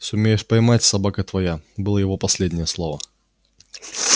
сумеешь поймать собака твоя было его последнее слово